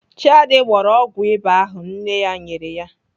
Chiadi gbọrọ ọgwụ ịba ahụ nne ya nyere ya.